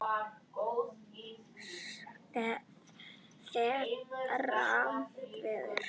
Fermt verður.